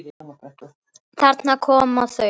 Þarna koma þau!